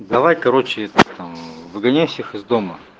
давай короче там выгоняй всех из дома